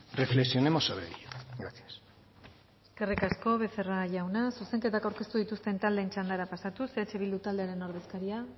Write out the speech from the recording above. reflexionemos sobre ello gracias eskerrik asko becerra jauna zuzenketak aurkeztu dituzten taldeen txandara pasatuz eh bildu taldearen ordezkaria